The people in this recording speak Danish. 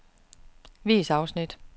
Vis afsnit.